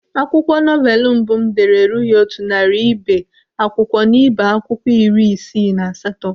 Akwụkwọ novelu mbụ m dere erughị otu narị ibe akwụkwọ n'ibé akwụkwọ iri isii na asatọ.